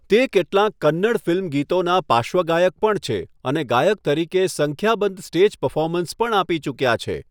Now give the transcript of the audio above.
તે કેટલાંક કન્નડ ફિલ્મ ગીતોનાં પાર્શ્વગાયક પણ છે અને ગાયક તરીકે સંખ્યાબંધ સ્ટેજ પરફોર્મન્સ પણ આપી ચૂક્યા છે.